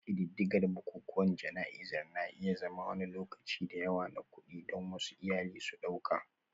Ƙididdigar bukukuwan jana'izar na iya zama wani lokaci da yawa na kuɗi, don wasu iyali su ɗauka